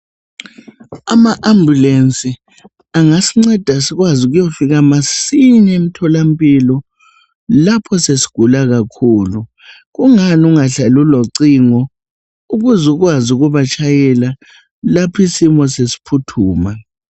AmaAmbulensi angasinceda sikwazi ukuyofika masinya emtholampilo, lapho sesigula kakhulu. Kungani ungahlali ulocingo ukuze ukwazi ubatshayela lapho isimo sesiphuthuma?